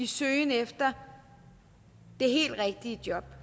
søgen efter det helt rigtige job